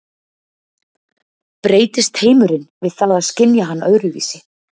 Breytist heimurinn við það að skynja hann öðruvísi?